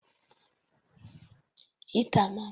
Heater máa ń mú omi gbóná nípa lílo iná.